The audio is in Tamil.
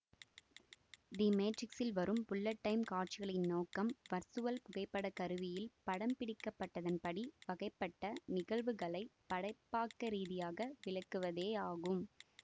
தி மேட்ரிக்ஸில் வரும் புல்லட் டைம் காட்சிகளின் நோக்கம் வர்ச்சுவல் புகைப்பட கருவியில் படம்பிடிக்கப்பட்டதன்படி வகைப்பட்ட நிகழ்வுகளை படைப்பாக்கரீதியாக விளக்குவதேயாகும்